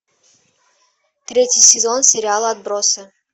третий сезон сериала отбросы